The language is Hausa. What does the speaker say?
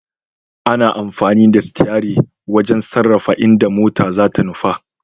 Ana amfani da sitiyari wajen sarrafa inda mota zata nufa.